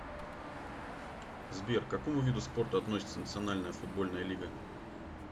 сбер к какому виду спорта относится национальная футбольная лига